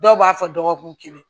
Dɔw b'a fɔ dɔgɔkun kelen